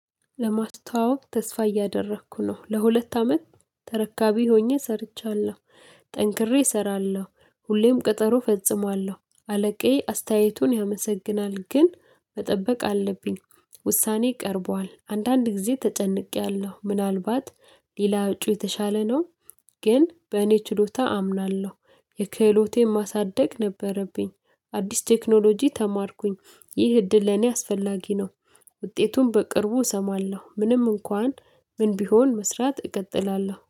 ለማስታዋወቅ ተስፋ እያደረኩ ነው ለሁለት አመት ተረካቢ ሆኜ ሰርቻለሁ። ጠንክሬ እሰራለሁ ሁሌም ቀጠሮ ፈጽማለሁ አለቃዬ አስተያየቱን ያመሰግናል። ግን መጠበቅ አለብኝ ውሳኔ ቀርቧል አንዳንድ ጊዜ ተጨንቄያለሁ። ምናልባት ሌላ እጩ የተሻለ ነው። ግን በእኔ ችሎታ አምናለሁ። የክህሎቴን ማሳደግ ነበረብኝ። አዲስ ቴክኖሎጂ ተማርኩኝ። ይህ እድል ለኔ አስፈላጊ ነው። ውጤቱን በቅርቡ እሰማለሁ ምንም እንኳን ምን ቢሆን መስራት እቀጥላለሁ